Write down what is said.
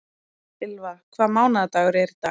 Ylva, hvaða mánaðardagur er í dag?